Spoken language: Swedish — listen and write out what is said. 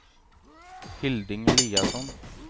Hilding Eliasson